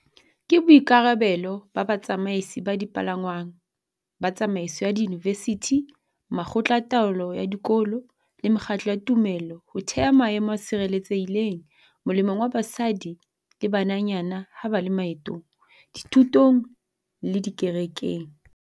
Ke boikarabelo ba batsamaisi ba dipalangwang, ba tsamaiso ya diyunivesithi, makgotla a taolo ya dikolo le mekgatlo ya tumelo ho theha maemo a tshireletsehileng molemong wa basadi le bananyana ha ba le maetong, dithutong le dikerekeng.